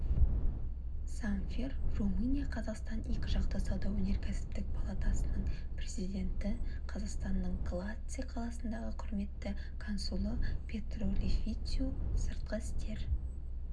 замфир румыния-қазақстан екіжақты сауда-өнеркәсіптік палатасының президенті қазақстанның галаце қаласындағы құрметті консулы петру лифичиу сыртқы істер